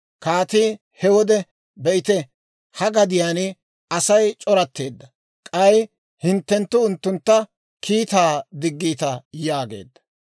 Kaatii he wode, «Be'ite, ha gadiyaan Asay c'oratteedda; k'ay hinttenttu unttuntta kiittaa diggiita» yaageedda.